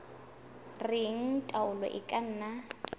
reng taolo e ka nna